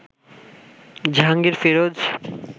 Jahangir Firoz